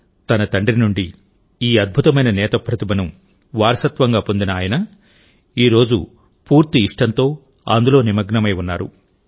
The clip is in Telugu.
తన తండ్రి నుండి ఈ అద్భుతమైన నేత ప్రతిభను వారసత్వంగా పొందిన ఆయన ఈ రోజు పూర్తి ఇష్టంతో అందులో నిమగ్నమై ఉన్నారు